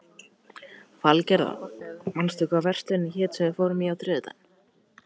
Valgerða, manstu hvað verslunin hét sem við fórum í á þriðjudaginn?